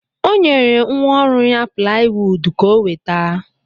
O nyere nwa ọrụ ya plaiwuud ka o weta.